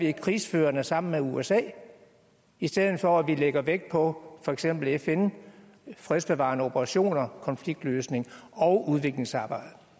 er krigsførende sammen med usa i stedet for at vi lægger vægt på for eksempel fn fredsbevarende operationer konfliktløsning og udviklingsarbejde